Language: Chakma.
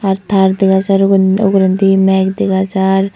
Ar taar dega jaar ugurendi meg dega jaar.